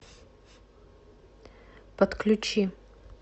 подключи